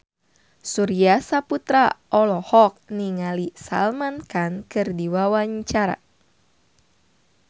Surya Saputra olohok ningali Salman Khan keur diwawancara